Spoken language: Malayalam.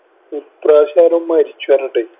ഈ പ്രാവശ്യം ആരോ മരിച്ചു പറഞ്ഞിട്ട്